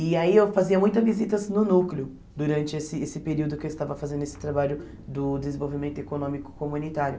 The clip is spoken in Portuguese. E aí eu fazia muitas visitas no núcleo durante esse esse período que eu estava fazendo esse trabalho do desenvolvimento econômico comunitário.